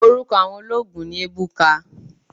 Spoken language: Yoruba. Oruko awon oloogun ni Ebuka